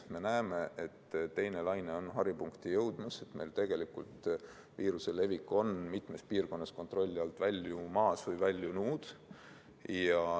Me näeme, et teine laine on haripunkti jõudmas, meil on viiruse levik mitmes piirkonnas kontrolli alt väljumas või väljunud.